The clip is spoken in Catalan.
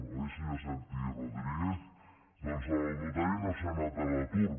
oi senyor santi rodríguez doncs el notari no ha anat a l’atur